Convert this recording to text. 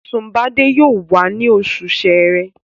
Sunbade yóò wá ní oṣù sẹrẹ